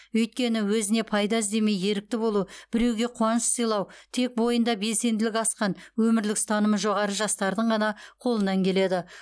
өйткені өзіне пайда іздемей ерікті болу біреуге қуаныш сыйлау тек бойында белсенділігі асқан өмірлік ұстанымы жоғары жастардың ғана қолынан келеді